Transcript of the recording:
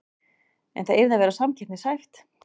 En það yrði að vera samkeppnishæft